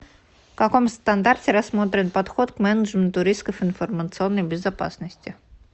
в каком стандарте рассмотрен подход к менеджменту рисков информационной безопасности